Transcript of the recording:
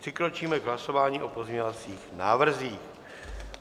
Přikročíme k hlasování o pozměňovacích návrzích.